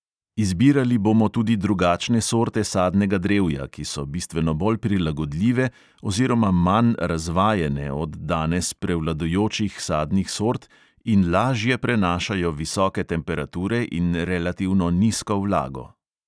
Izbirali bomo tudi drugačne sorte sadnega drevja, ki so bistveno bolj prilagodljive oziroma manj "razvajene" od danes prevladujočih sadnih sort in lažje prenašajo visoke temperature in relativno nizko vlago.